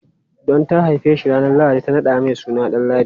Don ta haife shi ranar lahadi, ta naɗa mai suna Danladi.